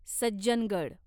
Sajjangad